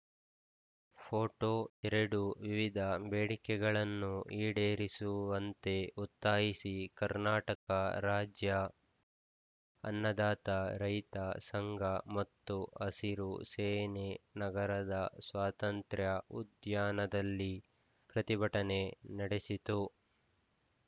photo ಎರಡು ವಿವಿಧ ಬೇಡಿಕೆಗಳನ್ನು ಈಡೇರಿಸುವಂತೆ ಒತ್ತಾಯಿಸಿ ಕರ್ನಾಟಕ ರಾಜ್ಯ ಅನ್ನದಾತ ರೈತ ಸಂಘ ಮತ್ತು ಹಸಿರು ಸೇನೆ ನಗರದ ಸ್ವಾತಂತ್ರ್ಯ ಉದ್ಯಾನದಲ್ಲಿ ಪ್ರತಿಭಟನೆ ನಡೆಸಿತು